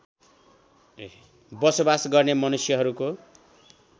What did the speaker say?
बसोबास गर्ने मनुष्यहरूको